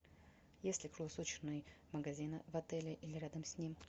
есть ли круглосуточный магазин в отеле или рядом с ним